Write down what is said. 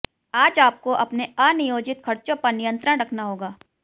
आज आपको अपने अनियोजित खर्चों पर नियंत्रण रखना होगा